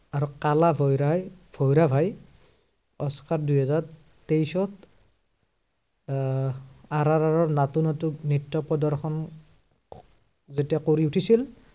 আৰু কালা ভৈৰাই, ভৈৰাভাই, অস্কাৰ দুহাজাৰ তেইশত আহ আৰ আৰ আৰত নাটো নাটো নৃত্য় প্ৰদৰ্শন যেতিয়া কৰি উঠিছিল